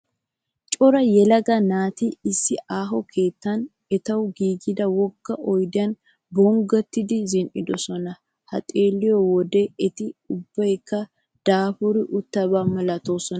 Cora yelagaa naati issi aaho keettan etawu giigida wogga oyidiyan bonggottidi zin'idosona. Ta xeelliyoo wodee eti ubbayikka daapuri uttaba malatoosona.